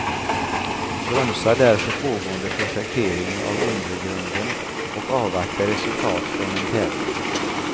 Bromsa därför pågående projektering av undergrunden och avvakta resultat från en tävling.